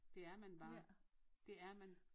Det er man bare det er man